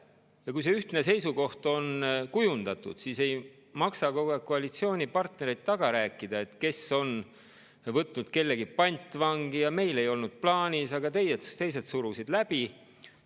Ja kui see ühtne seisukoht on kujundatud, siis ei maksa kogu aeg koalitsioonipartnereid taga rääkida, et kes on võtnud kellegi pantvangi ja et meil ei olnud plaanis, aga teised surusid läbi.